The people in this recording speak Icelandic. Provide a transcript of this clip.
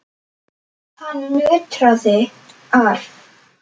Hann nötrar.